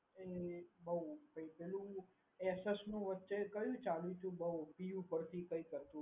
એ બહુ થઈ ગયું Asus નું વચ્ચે કયું ચાલ્યું તો બહુ પી ઉપરથી કઈક હતું.